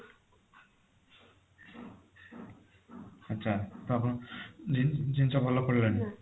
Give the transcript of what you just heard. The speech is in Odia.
ଆଚ୍ଛା ତ ଆପଣଙ୍କ ଜିନି ଜିନିଷ ଭଲ ପଡିଲାନି